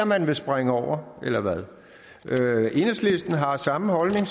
man vil springe over eller hvad enhedslisten har samme holdning